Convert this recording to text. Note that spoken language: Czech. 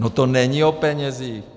No to není o penězích.